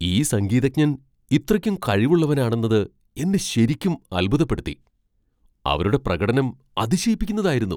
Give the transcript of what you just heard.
ഈ സംഗീതജ്ഞൻ ഇത്രയ്ക്ക് കഴിവുള്ളവനാണെന്നത് എന്നെ ശെരിക്കും അൽഭുതപ്പെടുത്തി. അവരുടെ പ്രകടനം അതിശയിപ്പിക്കുന്നതായിരുന്നു.